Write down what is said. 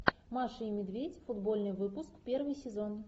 маша и медведь футбольный выпуск первый сезон